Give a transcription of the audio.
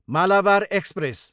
Malabar express